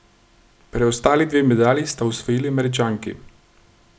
Preostali dve medalji sta osvojili Američanki.